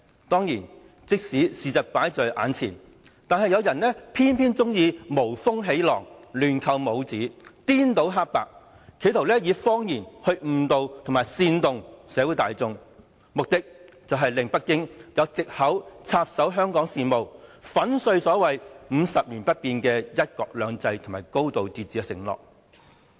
當然，即使事實擺在眼前，有人偏偏喜歡無風起浪、亂扣帽子、顛倒黑白，企圖以謊言來誤導和煽動社會大眾，目的是令北京有藉口插手香港事務，粉碎所謂50年不變的"一國兩制"和"高度自治"的承諾。